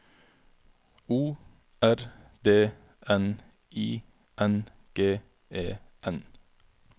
O R D N I N G E N